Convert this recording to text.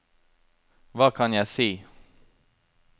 hva kan jeg si